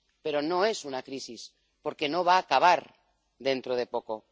Pero no es una crisis, porque no va acabar dentro de poco.